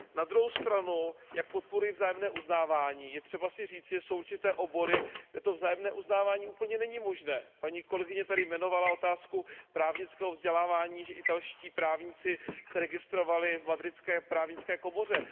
Na druhou stranu, jak podporuji vzájemné uznávání, je třeba si říci, že jsou určité obory, kde to vzájemné uznávání úplně není možné. Paní kolegyně tady jmenovala otázku právnického vzdělávání, že italští právníci se registrovali v madridské právnické komoře.